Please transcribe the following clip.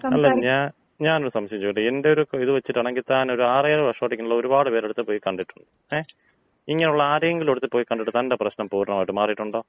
അല്ല, ഞാൻ ഞാൻ ഒരു സംശയം ചോദിച്ചോട്ടെ? എന്‍റെയൊരു ഇത് വച്ചിട്ടാണെങ്കി താനൊരു ആറ് ഏഴ് വർഷമായിട്ട് ഇങ്ങനെയുള്ള ഒരുപാട് പേരുടെ അടുത്ത് പോയി കണ്ടിട്ടുണ്ട് ങേ. ഇങ്ങനെയുള്ള ആരുടേങ്കിലും അടുത്ത് പോയി കണ്ടിട്ട് തന്‍റെ പ്രശ്നം പൂർണ്ണമായും മാറിയിട്ടൊണ്ടാ?